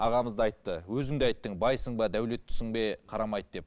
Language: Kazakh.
ағамыз да айтты өзің де айттың байсың ба дәулеттісің бе қарамайды деп